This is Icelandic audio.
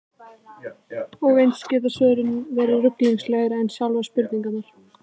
Og eins geta svörin verið ruglingslegri en sjálfar spurningarnar.